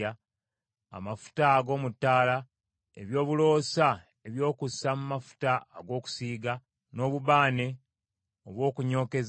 n’amafuta g’ettaala; n’ebyakaloosa eby’okukozesa mu mafuta ag’okwawula, ne mu bubaane obw’okunyookeza;